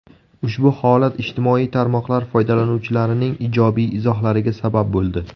Ushbu holat ijtimoiy tarmoqlar foydalanuvchilarining ijobiy izohlariga sabab bo‘ldi.